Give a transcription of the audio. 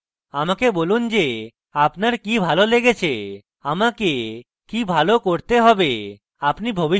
আমাকে বলুন যে আপনার কি ভালো লেগেছে আমাকে কি ভালো করতে have আপনি ভবিষ্যতে কি দেখতে চান